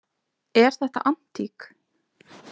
Er þetta antík?